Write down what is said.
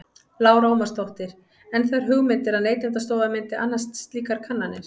Lára Ómarsdóttir: En þær hugmyndir að Neytendastofa myndi annast slíkar kannanir?